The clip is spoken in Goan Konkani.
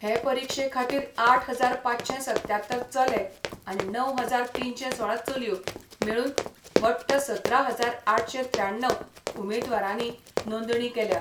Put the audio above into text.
हे परिक्षे खातीर आठ हजार पांचशे सत्त्यात्तर चले आनी णव हजार तीनशे सोळा चलयो मेळून वट्ट सतरा हजार आठशे त्र्याण्णव उमेदवारांनी नोंदणी केल्या.